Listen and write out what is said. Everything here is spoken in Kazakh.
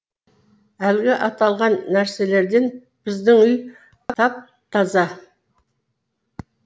әлгі аталған нәрселерден біздің үй тап таза